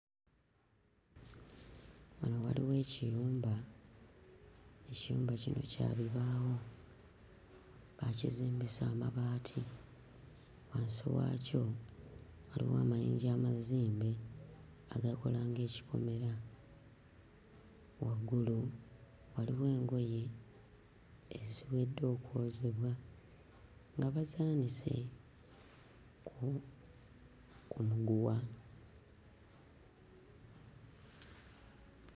Wano waliwo ekiyumba, ekiyumba kino kya bibaawo, baakizimbisa amabaati. Wansi waakyo waliwo amayinja amazimbe agakola ng'ekikomera, waggulu waliwo engoye eziwedde okwozebwa nga bazaanise ku ku muguwa.